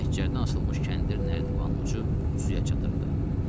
Məhəccərdən asılmış kəndir nərdivanın ucu suya çatırdı.